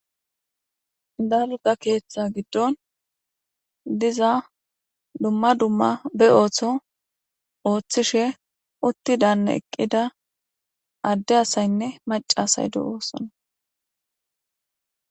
dalga keeththa giddon diza dumma dumma be ooththo ooththishe uttidanne eqqida adde asaynne macasay de7oossana.